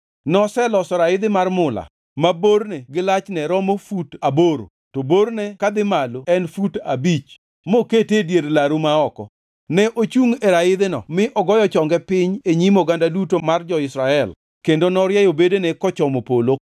Noseloso raidhi mar mula ma borne gi lachne romo fut aboro to borne kadhi malo en fut abich mokete e dier laru ma oko. Ne ochungʼ e raidhino mi ogoyo chonge piny e nyim oganda duto mar jo-Israel kendo norieyo bedene kochomo polo.